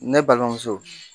Ne balimamuso.